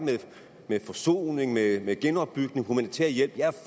med forsoning med genopbygning og humanitær hjælp jeg er